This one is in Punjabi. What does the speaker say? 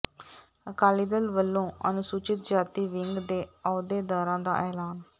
ਅਕਾਲੀ ਦਲ ਵੱਲੋਂ ਅਨੁਸੂਚਿਤ ਜਾਤੀ ਵਿੰਗ ਦੇ ਅਹੁਦੇਦਾਰਾਂ ਦਾ ਐਲਾਨ